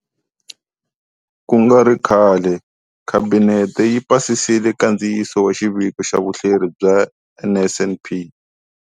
Ku nga ri khale, Khabinete yi pasisile nkandziyiso wa Xiviko xa Vuhleri bya NSNP.